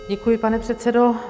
Děkuji, pane předsedo.